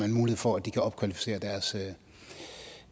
en mulighed for at de kan opkvalificere deres